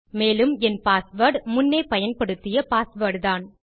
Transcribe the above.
மேலும் என் பாஸ்வேர்ட் முன்னே பயன்படுத்திய பாஸ்வேர்ட் தான்